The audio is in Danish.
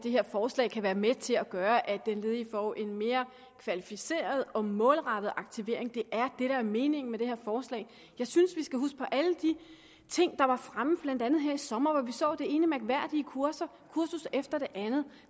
det her forslag kan være med til at gøre at den ledige får en mere kvalificeret og målrettet aktivering det er det der er meningen med det her forslag jeg synes vi skal huske på alle de ting der var fremme blandt andet her i sommer hvor vi så det ene mærkværdige kursus efter det andet